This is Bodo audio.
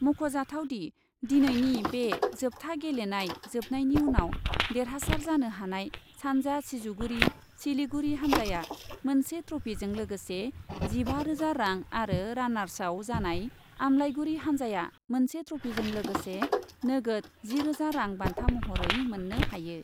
मख'जाथाव दि, दिनैनि बे जोबथा गेलेनाय जोबनायनि उनाव देरहासार जानो हानाय सान्जा सिजुगुरि सिलिगुरि हानजाया मोनसे ट्रफीजों लोगोसे जिबा रोजा रां आरो रानार्सआव जानाय आमलाइगुरि हान्जाया मोनसे ट्रफिजों लोगोसे नोगोद जिरोजा रां बान्था महरै मोननो हायो।